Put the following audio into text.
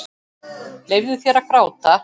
Leyfðu þér að gráta.